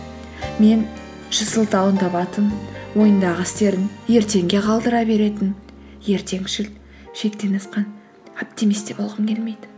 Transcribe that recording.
мен жүз сылтауын табатын ойындағы істерін ертеңге қалдыра беретін ертеңшіл шектен асқан оптимист те болғым келмейді